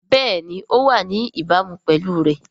Bẹ́ẹ̀ni ó wà ní ìbámu pẹ̀lú rẹ̀